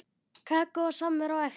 Kakó og samvera á eftir.